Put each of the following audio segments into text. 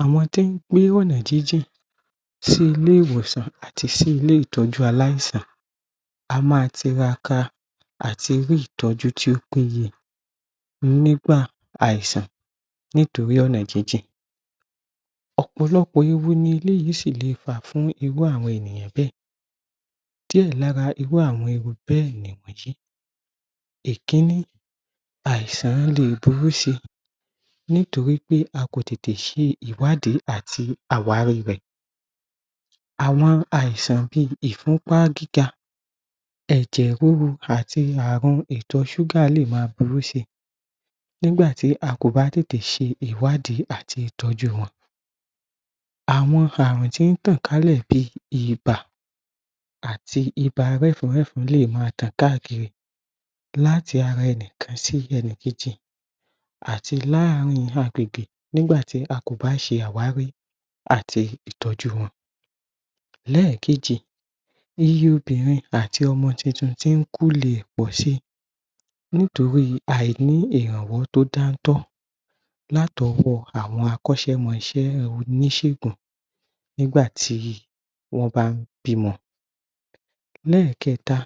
Àwọn tí wọ́n ń gbé ọ̀nà jíjì sí ilé-ìwòsàn àti sí ilé ìtọ́jú aláìsàn a má tiraka àtí rí ìtọ́jú tí ó péye nígbà àìsàn nítorí ọ̀nà jíjì ọ̀pọ̀lọpọ̀ ewu ni eléyìí sì le fà fún irú àwọn ènìyàn bẹ́ẹ̀ díẹ̀ lára irú àwọn ewu bẹ́ẹ̀ ni wọnyìí ìkíní àìsàn lè burú ṣe nítorí pé a kò tètè sẹ ìwádìí àti àwárí rẹ̀ àwọn àìsàn bí ìfúńpá gíga ẹ̀jẹ̀ rúru àti àrun ìtọ ṣúgà lè ma burú si nígbà tí a kòbá tètè ṣe ìwádií àti ìtọ́jú wọn àwọn ààrùn tí ń tọ̀ká lẹ̀ bí ibà àti ibà wẹ́fun wẹ́fun lè ma tàn káàkiri láti ara ẹni kan sí ẹni keji àti lááàrin agbègbè nígbà tí a kò bá ṣe àwárí àti ìtọ́jú wọn lẹ́ẹ̀kejì iye obìnrin àti ọmọ tuntun tí ń kóle pọ̀si nítorí àìní ìrànwọ́ tí ó dán tọ́ láti ọwọ́ awọn akóṣẹ́mọṣẹ́ oníṣègùn nígbà tí wọ́n bá ń bímọ lẹ́ẹ̀kẹ́ta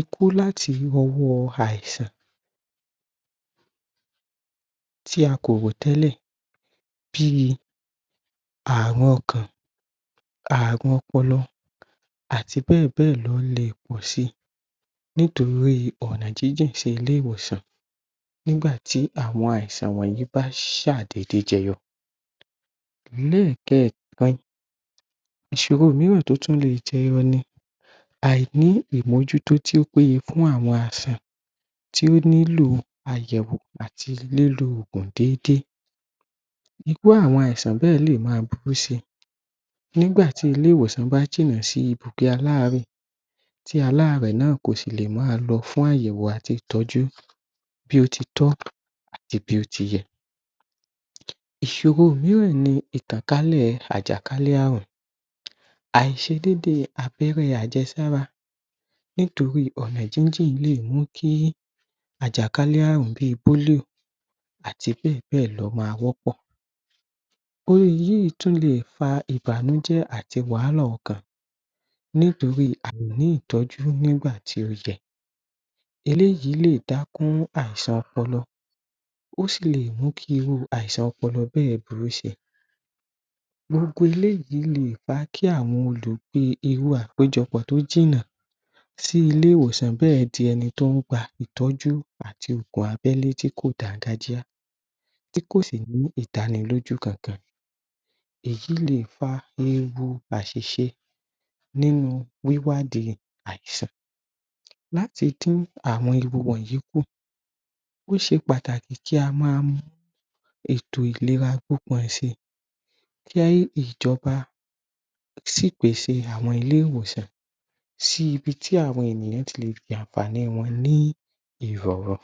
ikú láti irú ọwọ́ àìsàn tí a kò wọ̀ tẹ́lẹ̀ bíi àrùn ọkàn àrùn ọpọlọ àti bẹ́ẹ̀ bẹ́ẹ̀ lọ lè pọ̀si nítorí ọ̀nà jíjì sí ilé-ìwòsàn nígbà tí àwọn àisàn wọ̀nyìí bá ṣà dédé jẹyọọ lẹ́ẹ́ẹ̀kerin ìṣòro míìràn tí ó tún lè jyọọ ni àìní ìmójútó tí ó péye fún àwọn àìsàn tí ó nílò àyẹ̀wò àti lílo òògùn dédé irú àwọn aìsàn bẹ́ẹ̀ lè ma burú si nígbà tí ilè-ìwòsàn bá jìnà sí ibùgbé aláàárẹ̀ tí aláàárẹ̀ náà kò sìlè má a lọ fún àyẹ̀wò àti ìtọ́jú bí ó ti tọ́ àti bí ó ti yẹ ìṣòro míìràn ni ìtàn kálẹ̀ àjàkálẹ̀ àrùn àìṣe dédé abẹ́rẹ́ àjẹ́sára nítorí ọ̀nà jíjì lè mú kí àjànkálẹ̀ àrùn bí políò àti bẹ́ẹ̀ bẹ́ẹ̀ lọ ma wọ́pọ̀ irú yìí tún lè fa ìbànújẹ́ àti wàhálà ọkàn nítorí àìní ìtọ́jú nígbà tí ó yẹ eléyìí lè dákún àìsàn ọpọlọ ó sí lè mú kí irú àìsàn ọpọlọ bẹ́ẹ̀ burú si gbogbo eléyìí lé è fà kí àwọn olè pe irú àkójọpọ̀ tí ó jìnnà sí ilé-ìwòsàn bẹ́ẹ̀ di ẹni tí ó ń gba ìtọ́jú àti ipò abẹ́ lójú tí kò dángájíá tí kòsì ní ìdánilójú kan-kan èyí lè fa ogun àṣìṣe nínú wíwádìí àisan láti dí àwọn ewu wọ̀nyìí kù ó ṣe pàtàkì kí á ma mú ètò ìléra kí ìjọ́ba sì pèsè àwọn ilé-ìwòsàn sí ibi tí àwọn ènìyàn ti lè jẹ ànfàààní wọn ní ìrọ̀rùn